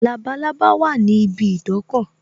Labalábá wà ní ibi idọ́kọ̀